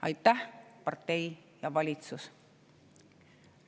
Aitäh, partei ja valitsus!